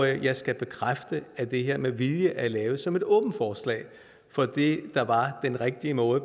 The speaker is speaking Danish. jeg skal bekræfte at det her med vilje er lavet som et åbent forslag for det der var den rigtige måde